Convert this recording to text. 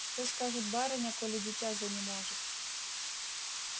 что скажет барыня коли дитя занеможет